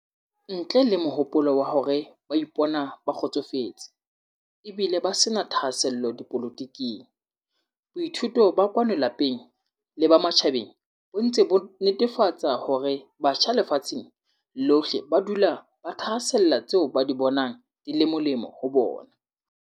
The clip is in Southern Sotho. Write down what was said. Ntle le mohopolo wa hore ba ipona ba kgotsofetse, e bile ba se na thahasello dipolotiking, boithuto ba kwano lapeng le ba matjhabeng bo ntse bo netefa tsa hore batjha lefatsheng lohle ba dula ba thahasella tseo ba di bonang di le molemo ho bona.